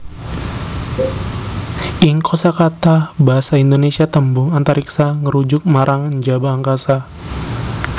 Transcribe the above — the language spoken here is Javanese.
Ing kosakata basa Indonésia tembung Antariksa ngrujuk marang njaba angkasa